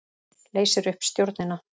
Leysir upp stjórnina